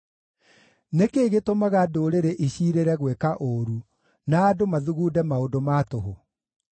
Nĩ kĩĩ gĩtũmaga ndũrĩrĩ iciirĩre gwĩka ũũru na andũ mathugunde maũndũ ma tũhũ?